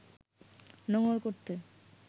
নোঙ্গর করতে